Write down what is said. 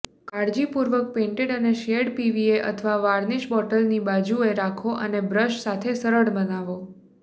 કાળજીપૂર્વક પેઇન્ટેડ અને સ્િયેરેડ પીવીએ અથવા વાર્નિશ બોટલની બાજુએ રાખો અને બ્રશ સાથે સરળ બનાવો